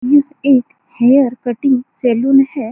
यह एक hair cutting salon है।